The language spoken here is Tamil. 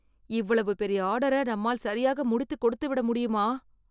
இவ்வளவு பெரிய ஆர்டர நம்மால் சரியாக முடித்து கொடுத்துவிட முடியுமா?